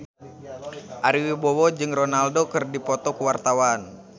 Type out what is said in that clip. Ari Wibowo jeung Ronaldo keur dipoto ku wartawan